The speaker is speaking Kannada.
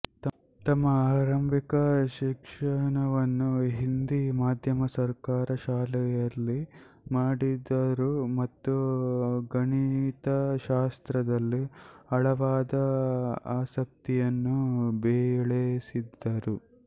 ತಮ್ಮ ಆರಂಭಿಕ ಶಿಕ್ಷಣವನ್ನು ಹಿಂದಿ ಮಾಧ್ಯಮ ಸರ್ಕಾರಿ ಶಾಲೆಯಲ್ಲಿ ಮಾಡಿದರು ಮತ್ತು ಗಣಿತಶಾಸ್ತ್ರದಲ್ಲಿ ಆಳವಾದ ಆಸಕ್ತಿಯನ್ನು ಬೆಳೆಸಿದ್ದರು